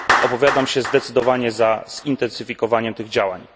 Opowiadam się zdecydowanie za zintensyfikowaniem tych działań.